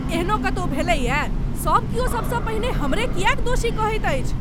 एहनो कतौ भेलैए, सभ क्यौ सबसँ पहिने हमरे किएक दोषी कहैत अछि?